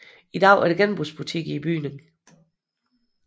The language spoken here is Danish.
I dag er der genbrugsbutik i bygningen